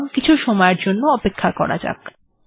সুতরাংকিছু সময়ের জন্য অপেক্ষা করা যাক